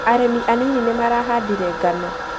Arĩmi anini nĩ marahandire ngano